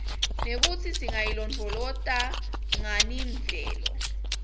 nekutsi singayilondvolozata nganiimvelo